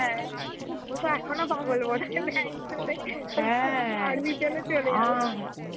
হ্যাঁ, ওতো এখুন পাগল বোধয় ছেলে. army পেলে চলে যাবে .